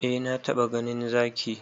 Eh na taba ganin Zaki.